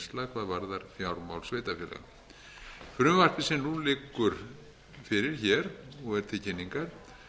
varðar fjármál sveitarfélaga frumvarpið sem nú liggur fyrir hér og er til kynningar